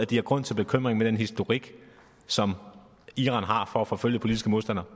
de har grund til bekymring med den historik som iran har for at forfølge politiske modstandere